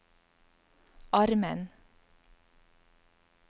armen